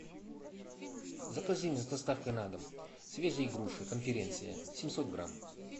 закажи мне с доставкой на дом свежие груши конференция семьсот грамм